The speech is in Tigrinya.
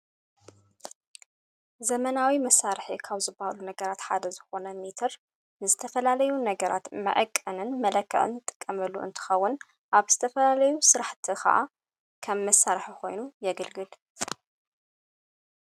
ዘመናዊ መሣርሕ ካብ ዝባሉ ነገራት ሓደ ዝኾነ ሚትር ንስተፈላለዩ ነገራት መእቀንን መለክቕን ጠቀመሉ እንትኸውን ኣብ ዝተፈላለዩ ሥራሕቲ ኸዓ ኸም መሣርሕ ኾይኑ የግልግል::